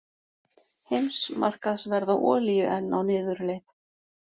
Heimsmarkaðsverð á olíu enn á niðurleið